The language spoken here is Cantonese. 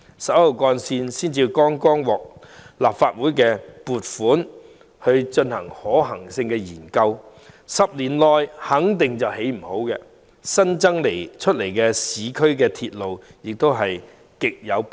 十一號幹線剛獲立法會撥款進行可行性研究 ，10 年內肯定未能落成，故增建市區鐵路亦極為迫切。